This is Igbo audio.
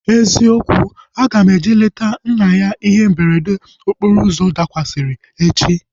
Eziokwu, aga m eje leta nna ya ihe mberede okporo ụzọ dakwasịrị echi